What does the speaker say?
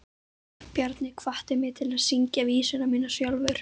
Bjarni hvatti mig til að syngja vísurnar mínar sjálfur.